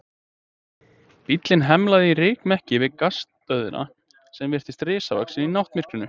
Bíllinn hemlaði í rykmekki við Gasstöðina sem virtist risavaxin í náttmyrkrinu.